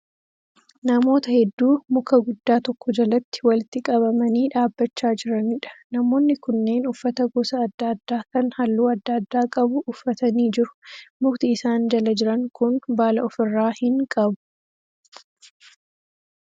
Namoota hedduu muka guddaa tokko jalatti walitti qabamanii dhaabbachaa jiraniidha. Namoonni kunneen uffata gosa adda addaa kan halluu adda addaa qabu uffatanii jiru. Mukti isaan jala jiran kun baala ofi irraa hin qabu.